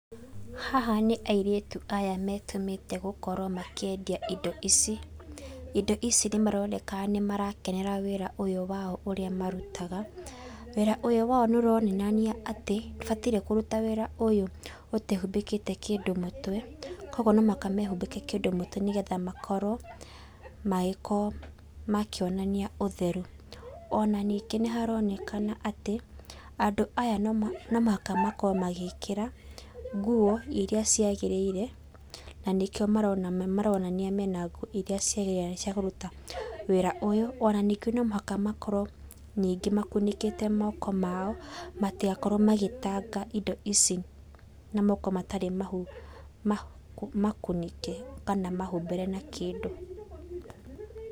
Haha nĩ airĩtu aya metũmĩte makorwo makĩendia indo ici, indo ici nĩmaroneka nĩmarakenera wĩra ũyũ wao ũrĩa marutaga, wĩra ũyũ wao nĩũronanagia atĩ ndũhatiĩ kũruta wĩra ũyũ ũtehubĩkĩte kĩndũ mũtwe, kwoguo no mũhaka mehubĩke kĩndũ ũtwe nĩgetha makorwo makĩonania ũtheru, onaningĩ nĩ haronekana atĩ, andũ aya nomũhaka makorwe magĩkĩra nguo iria ciagĩrĩrire na nĩkio maronania mena nguo ciakũruta wĩra ũyũ ona nũmũhaka makorwo ningĩ makunĩkĩte moko mao matigakorwo magĩtanga indo ici na moko matarĩ makunĩke kana mahubĩre na kĩndũ.